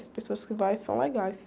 As pessoas que vão são legais.